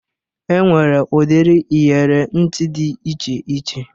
E nwere udiri iyere ntị dị iche iche